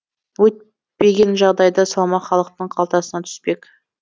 өйтпеген жағдайда салмақ халықтың қалтасына түспек